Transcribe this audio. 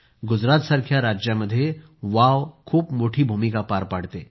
गुजरातसारख्या राज्यामध्ये वाव खूप मोठी भूमिका पार पाडते